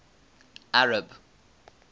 arab